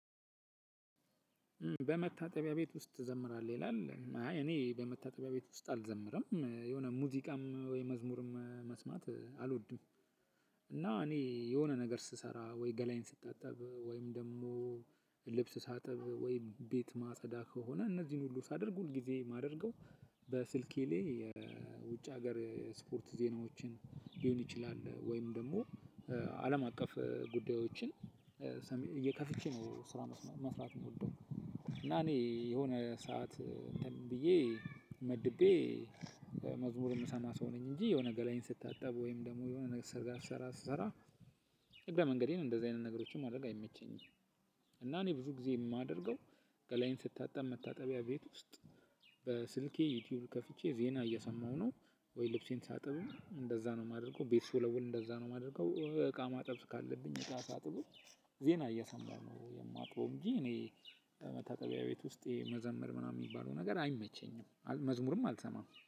በመታጠቢያ ቤት ውስጥ ትዘምራለህ ይላል አይ እኔ በመታጠቢያ ቤት ውስጥ አልዘምርም የሆነ ሙዚቃም ወይ መዝሙርም መስማት አልወድም። እና እኔ የሆነ ነገር ስሰራ ወይ ገላየን ስታጠብ ወይም ደግሞ ልብስ ሳጠብ ወይም ቤት ማጸዳ ከሆነ እነዚህን ሁሉ ሳደርግ ሁል ጊዜ ማደርገው በስልኬ ላይ የውጭ ሀገር ስፖርት ዜናዎችን ሊሆን ይችላል ወይም ደግሞ አለም አቀፍ ጉዳዮችን ነው ስራውን መስራት የምወደው። እና እኔ የሆነ ሰዓት ብዬ መድቤ መዝሙር የምሰማ ሰው ነኝ እንጂ የሆነ ገላየን ስታጠብ ወይም ደግሞ የሆነ ነገር ሰርጋ ስሰራ ስሰራ እግረ መንገዴን እንደዚህ አይነት ነገሮችን ማድረግ አይመቸኝም። እና እኔ ብዙ ጊዜ የማደርገው ገላየን ስታጠብ መታጠቢያ ቤት ውስጥ በስልኬ ዩቲዩብ ከፍቼ ዜና እየሰማሁ ነው። ወይ ልብሴን ሳጥብም እንደዛ ነው የማደርገው ቤት ስወለውል እንደዛ ነው የማደርገው። እቃ ማጠብ ካለብኝ እቃ ሳጥብ ዜና እየሰማ ነው የማጥበው እንጂ እኔ መታጠቢያ ቤት ውስጥ መዘመር ምናምን የሚባለው ነገር አይመቸኝም መዝሙርም አልሰማም